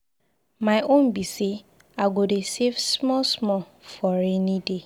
My own be say I go dey save small small for rainy day.